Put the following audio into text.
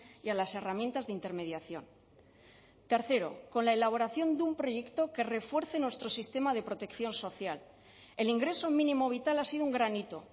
y a las herramientas de intermediación tercero con la elaboración de un proyecto que refuerce nuestro sistema de protección social el ingreso mínimo vital ha sido un gran hito